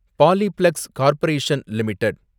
Polyplex Corporation limited